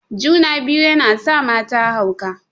Juna-biyu yana sa mata hauka.